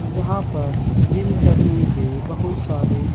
जहाँ पर जिम करने के बहुत सारे --